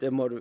der måtte